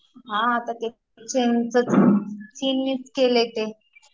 हा आता ते चीननीच केलंय ते